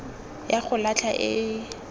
ya go latlha e e